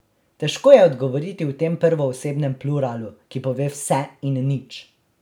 Težko je odgovoriti v tem prvoosebnem pluralu, ki pove vse in nič.